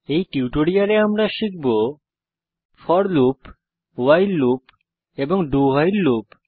এই টিউটোরিয়ালে আমরা শিখব ফোর লুপ ভাইল লুপ এবং dowhile লুপ